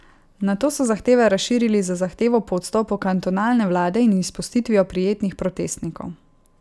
Nato so zahteve razširili z zahtevo po odstopu kantonalne vlade in izpustitvijo prijetih protestnikov.